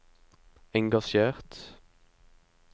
engasjert